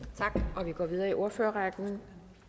tak og vi går videre i ordførerrækken